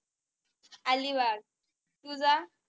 अलिबाग तुझं?